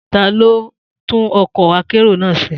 Ta ló tún ọkọ̀ akérò náà ṣe?